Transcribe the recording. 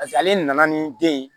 ale nana ni den ye